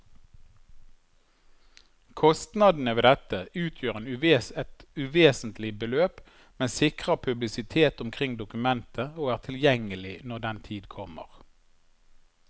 Kostnadene ved dette utgjør et uvesentlig beløp, men sikrer publisitet omkring dokumentet og er tilgjengelig når den tid kommer.